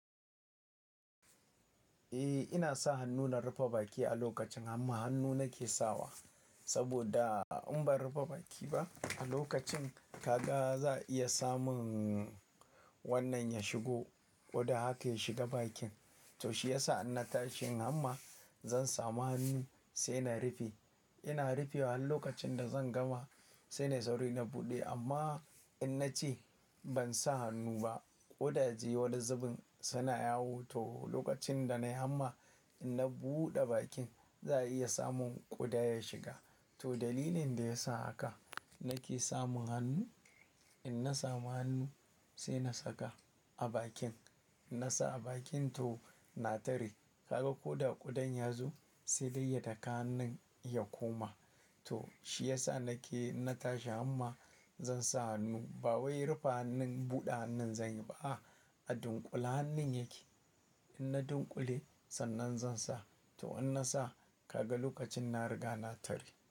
Eh, ina sa hannu na rufe baki a lokacin hamma. Hannu nake sawa saboda in ban rufe baki ba a lokacin, ka ga za a iya samun wannan ya shigo, ƙwuda haka ya shiga bakin. To shi yasa in na tashi yin hamma zan samu hannu sai na rufe. Ina rufewa har lokacin da zan gama sai na sauri na buɗe. Amma in na ce ban sa hannu ba, ƙwudaje wani zubin suna yawo. To lokacin da na yi hamma, in na buɗe bakin za a iya samun ƙwuda ya shiga. To dalilin da ya sa haka nake samun hannu. In na samu hannu sai na saka a bakin. In na sa a bakin to na tare. Kaga ko da ƙudan ya zo sai ya daka hannun ya koma. To shi yasa nake in na tashi amma zan sa hannu. Ba wai rufe hannun, buɗe hannun zan yi ba. A dunƙule hannun yake. In na dunƙule sannan zan sa. To in na sa kaga lokacin na riga na tare.